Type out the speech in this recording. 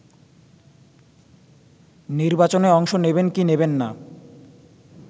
নির্বাচনে অংশ নেবেন কি নেবেন না